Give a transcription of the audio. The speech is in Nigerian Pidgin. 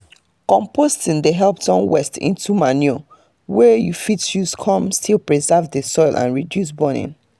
composting dey help turn watse into manure wey you fit use come still preserve the soil and reduce burning